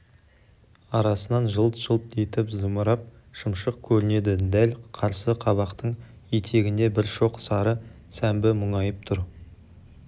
арасынан жылт-жылт етіп зымырап шымшық көрінеді дәл қарсы қабақтың етегінде бір шоқ сары сәмбі мұңайып тұр